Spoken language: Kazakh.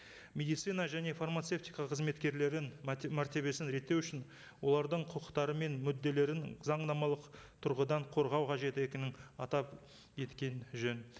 медицина және фармацевтика қызметкерлерінің мәртебесін реттеу үшін олардың құқықтары мен мүдделерін заңнамалық тұрғыдан қорғау қажетті екенін атап жөн